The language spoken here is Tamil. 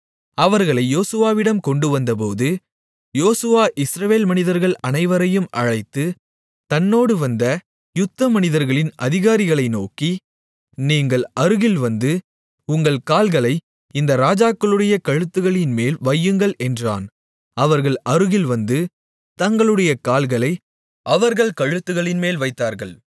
அவர்களை யோசுவாவிடம் கொண்டுவந்தபோது யோசுவா இஸ்ரவேல் மனிதர்கள் அனைவரையும் அழைத்து தன்னோடு வந்த யுத்தமனிதர்களின் அதிகாரிகளை நோக்கி நீங்கள் அருகில் வந்து உங்கள் கால்களை இந்த ராஜாக்களுடைய கழுத்துகளின்மேல் வையுங்கள் என்றான் அவர்கள் அருகில் வந்து தங்களுடைய கால்களை அவர்கள் கழுத்துகளின்மேல் வைத்தார்கள்